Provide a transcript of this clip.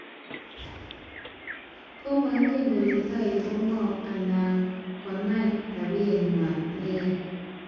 Komaingen kole toek ko ngoo anan konai tabiyekway neyaa